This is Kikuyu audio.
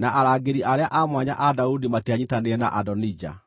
na arangĩri arĩa a mwanya a Daudi matianyiitanĩire na Adonija.